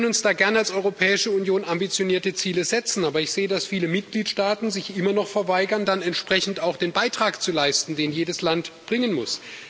Wir können uns da gern als Europäische Union ambitionierte Ziele setzen. Aber ich sehe, dass viele Mitgliedstaaten sich immer noch verweigern, dann entsprechend auch den Beitrag zu leisten, den jedes Land bringen muss.